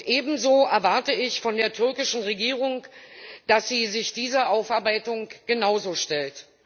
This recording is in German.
Ebenso erwarte ich von der türkischen Regierung, dass sie sich dieser Aufarbeitung genauso stellt.